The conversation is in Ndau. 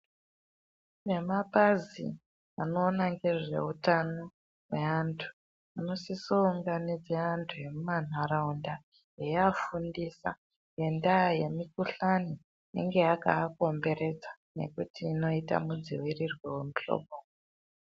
Vemapazi anoona ngezveutano hweantu vanosise kuunganidze vantu vemumantaraunda veiafundisa ngendaa yemikhuhlani inenge yakaakomberedza nekuti inoite nemudziirirwo wemuhloboyi.